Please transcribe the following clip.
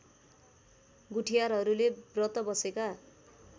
गुठियारहरूले व्रत बसेका